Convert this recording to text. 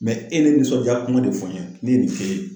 Mɛ e be nisɔndiya kuma de fɔ n ye ne ye nin k'e ye